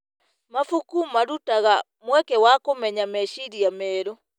Mabuku marutaga mweke wa kũmenya meciria merũ.